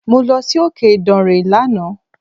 Mo lọ si òkè ìdànrè lánàá.